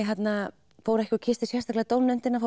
fór ég ekki og kyssti sérstaklega dómnefndina